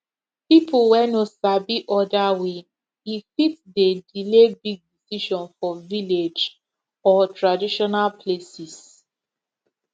people wey no sabi other way e fit dey delay big decision for village or traditional places